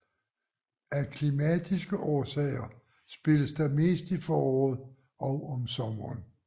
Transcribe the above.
Af klimatiske årsager spilles der mest i foråret og om sommeren